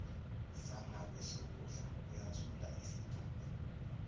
sangakwesokudla uyathula isigamu